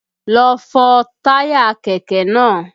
Lọ fọ táyà kẹ̀kẹ́ náà!